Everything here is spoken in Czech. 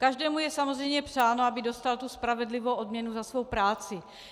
Každému je samozřejmě přáno, aby dostal tu spravedlivou odměnu za svou práci.